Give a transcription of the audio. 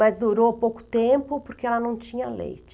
Mas durou pouco tempo porque ela não tinha leite.